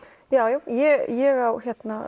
ég á